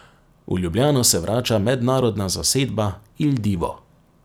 V Ljubljano se vrača mednarodna zasedba Il Divo.